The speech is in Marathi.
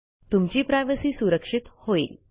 तुमची प्रायव्हसी सुरक्षित होइल